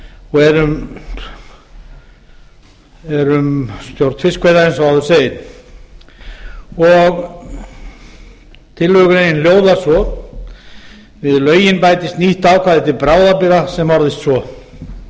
og er um stjórn fiskveiða eins og áður segir tillögugreinin hljóðar svo við lögin bætist nýtt ákvæði til bráðabirgða sem orðast